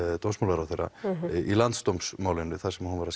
dómsmálaráðherra í landsdómsmálinu þar sem hún var að